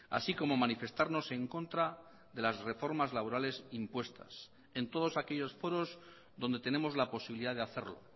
así como manifestarnos en contra de las reformas laborales impuestas en todos aquellos foros donde tenemos la posibilidad de hacerlo